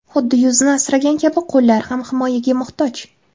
Xuddi yuzni asragan kabi qo‘llar ham himoyaga muhtoj.